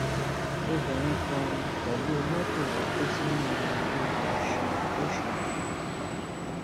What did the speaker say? obìnrin kan um pẹlú mọtò rẹ kó sínú um odò ọṣun lọsgbọn